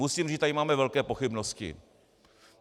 Musím říct, že tady máme velké pochybnosti.